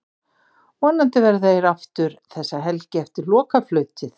Vonandi verða eir það aftur þessa helgi eftir lokaflautið.